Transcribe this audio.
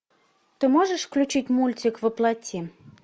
ты можешь включить мультик во плоти